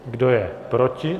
Kdo je proti?